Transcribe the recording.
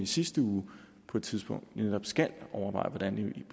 sidste uge på et tidspunkt netop skal overveje hvordan